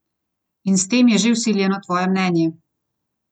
In s tem je že vsiljeno tvoje mnenje!